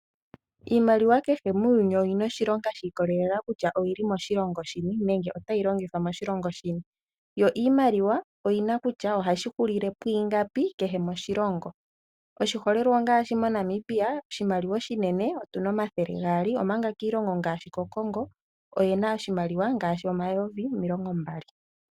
Iimaliwa kehe muuyuni oyi na oshilonga shikolelela kutya oyi li moshilongo shini nenge Ota yi longithwa moshilongo shini. Yo iimaliwa oyi na kutya ohashi hulile pwiingapi kehe moshilongo. Oshiholelwa ngaashi: moNamibia oshimaliwa oshinene otu na omathele gaali, omanga kiilonga ngaashi koCongo oyi na oshimaliwa ngaashi omayovi omilongo mbali.